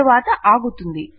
తరువాత ఆగుతుంది